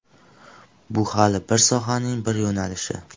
Bu hali bir sohaning bir yo‘nalishi.